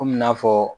Komi n'a fɔ